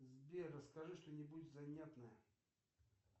сбер расскажи что нибудь занятное